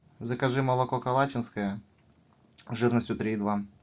закажи молоко калачинское жирностью три и два